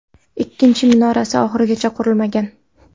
Ikkinchi minorasi oxirigacha qurilmagan.